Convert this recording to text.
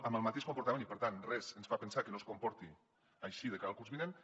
amb el mateix comportament i per tant res ens fa pensar que no es comporti així de cara al curs vinent